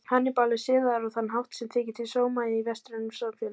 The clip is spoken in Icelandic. Hannibal er siðaður á þann hátt sem þykir til sóma í vestrænum samfélögum.